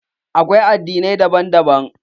Akwai addinai daban daban.